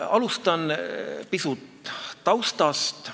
Alustan taustast.